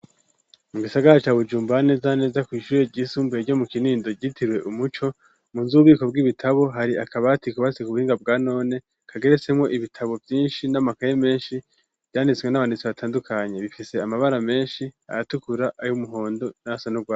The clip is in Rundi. Mu gisagara ca Bujumbura, neza na neza kw'ishure ryisumbuye ryo mu Kinindo ryitiriwe Umuco, munzu y'ububiko bw'ibitabo hari akabati kubatse ku buhinga bwanone, kageretsemwo ibitabo vyinshi n'amakayi menshi, vyanditswe n'abanditsi batandukanye, bifise amabara menshi ayatukura ay'umuhondo nayasa n'urwatsi.